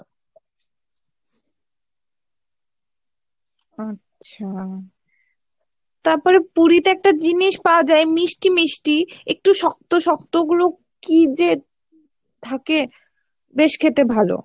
আচ্ছা তারপরে পুরীতে একটা জিনিস পাওয়ায় মিষ্টি মিষ্টি, একটু শক্ত শক্ত, ওগুলো কি যে থাকে বেশ খেতে ভালো।